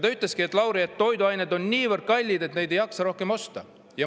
Ta ütles: "Lauri, toiduained on niivõrd kallid, et neid ei jaksa rohkem osta.